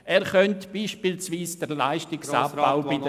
Er könnte beispielsweise den Leistungsabbau bei den…